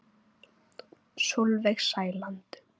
Sólveig Sæland.